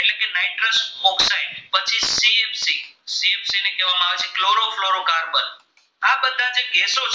ગેસો થાય